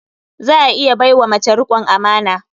Za a iya bai wa mace riƙon amana.